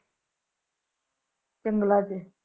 ਜੰਗਲਾਂ ਚ